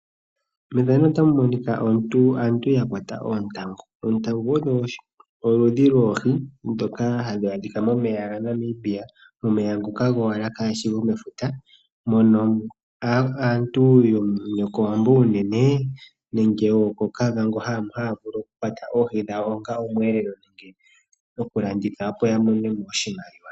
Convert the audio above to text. Aantu ya kwata oontangu. Oontangu odho oludhi dhoohi ndoka halu adhika momeya ga Namibia, momeya ngoka gowala kageshi gomefuta. Mono aantu yo kOwambo unene nenge yo kOkavango haya vulu okukwata oohi dhawo onga omweelelo, nenge okulanditha opo ya monemo oshimaliwa.